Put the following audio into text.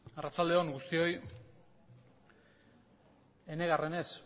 arratsalde on guztioi enegarrenez